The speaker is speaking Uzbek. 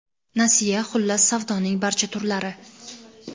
nasiya - xullas savdoning barcha turlari!.